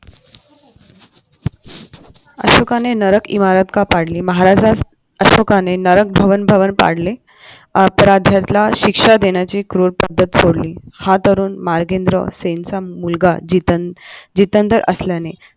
अशोकाने नरक इमारत का पाडली महाराजास अशोकाने नरक भवन भवन पाडले अपराध्याला शिक्षा देण्याची क्रूर पद्धत सोडली हा तरुण मागेंद्र सेनचा मुलगा जितेंद्र असल्याने